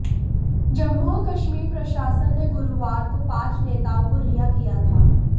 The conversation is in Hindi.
जम्मू और कश्मीर प्रशासन ने गुरुवार को पांच नेताओं को रिहा किया था